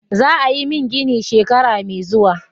Za a yi min gini shekara mai zuwa.